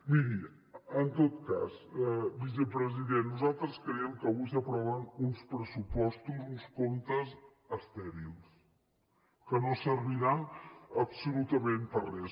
miri en tot cas vicepresident nosaltres creiem que avui s’aproven uns pressupostos uns comptes estèrils que no serviran absolutament per a res